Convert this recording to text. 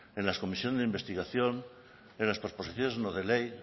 en las comisiones de investigación en las proposiciones no de ley